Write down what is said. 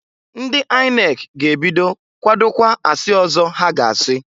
Ndị INEC ga-ebido kwadokwa asị ọzọ ha ga-asi.